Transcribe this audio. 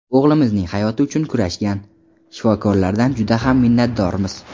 O‘g‘limizning hayoti uchun kurashgan shifokorlardan juda ham minnatdormiz.